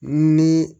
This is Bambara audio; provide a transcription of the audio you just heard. Ni